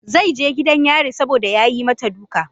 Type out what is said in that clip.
Zai je gidan yari saboda ya yi mata duka.